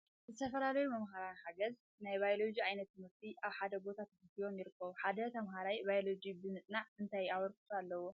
ዝተፈላለዩ መምህር ሓገዝ ናይ ባዮሎጂ ዕይነት ትምህርቲ ኣብ ሓደ ቦታ ትሰብሲቦም ይርከቡ ። ሓደ ተምሃራይ ባዮሎጂ ብ ምፅንዑ እንታይ ኣበርክቶ ኣለዎ ?